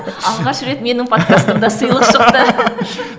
алғаш рет менің подкастымда сыйлық шықты